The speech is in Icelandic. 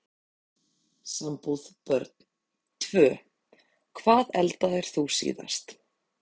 Sambúð Börn: Tvö Hvað eldaðir þú síðast?